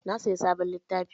Na sayi sabon littafi.